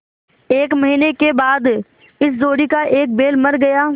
एक महीने के बाद इस जोड़ी का एक बैल मर गया